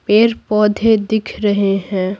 पेड़-पौधे दिख रहे हैं।